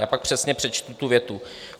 Já pak přesně přečtu tu větu.